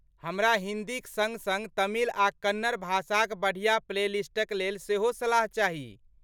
हमरा हिन्दीक सङ्ग सङ्ग तमिल आ कन्नड़ भाषाक बढ़िआँ प्लेलिस्टक लेल सेहो सलाह चाही।